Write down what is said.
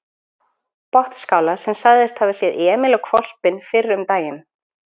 Botnsskála sem sagðist hafa séð Emil og hvolpinn fyrr um daginn.